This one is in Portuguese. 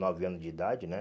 Nove anos de idade, né?